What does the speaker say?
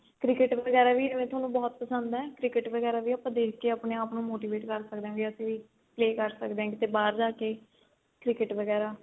cricket ਵਗੈਰਾ ਵੀ ਤੁਹਾਨੂੰ ਬਹੁਤ ਪਸੰਦ ਏ cricket ਵਗੈਰਾ ਵੀ ਦੇਖ ਕੇ ਆਪਾਂ ਆਪਣੇ ਆਪ ਨੂੰ motivate ਕਰ ਸਕਦੇ ਆ ਵੀ ਅਸੀਂ play ਕਰ ਸਕਦੇ ਆ ਕੀਤੇ ਬਾਹਰ ਜਾ ਕੇ cricket ਵਗੈਰਾ